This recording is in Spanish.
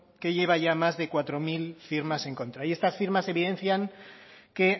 que lleva ya más de cuatro mil firmas en contra y estas firmas evidencian que